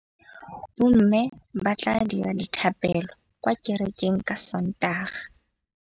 Bommê ba tla dira dithapêlô kwa kerekeng ka Sontaga.